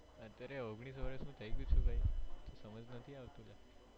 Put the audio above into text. અત્યારે ઓગણીસ વર્ષ નો થયી ગયો છુ ભાઈ સમજ નથી આવતું લ્યા